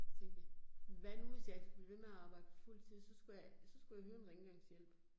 Så tænkte jeg, hvad nu hvis ikke skulle blive ved med at arbejde på fuldtid, så skulle jeg, så skulle jeg hyre en rengøringshjælp